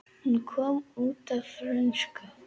Hún kom út á frönsku